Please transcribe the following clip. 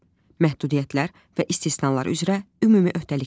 Məhdudiyyətlər və istisnalar üzrə ümumi öhdəliklər.